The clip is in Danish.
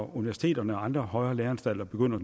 universiteterne og andre højere læreanstalter begynder